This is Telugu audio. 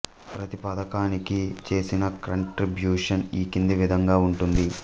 ప్రతి పథకానికి చేసిన కంట్రిబ్యూషన్ ఈ క్రింది విధంగా ఉంటుంది